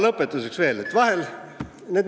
Lõpetuseks.